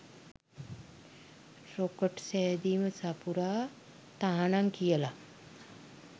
"Rocket සැදීම සපුරා තහනම්" කියලා.